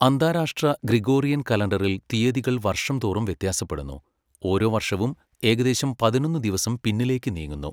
അന്താരാഷ്ട്ര ഗ്രിഗോറിയൻ കലണ്ടറിൽ തീയതികൾ വർഷം തോറും വ്യത്യാസപ്പെടുന്നു, ഓരോ വർഷവും ഏകദേശം പതിനൊന്ന് ദിവസം പിന്നിലേക്ക് നീങ്ങുന്നു.